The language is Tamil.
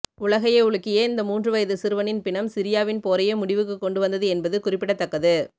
உலகையே உலுக்கிய இந்த மூன்று வயது சிறுவனின் பிணம் சிரியாவின் போரையே முடிவுக்குக் கொண்டு வந்தது என்பது குறிப்பிடத்தக்கது